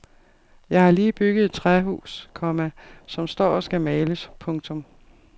Jeg har lige bygget et træhus, komma som står og skal males. punktum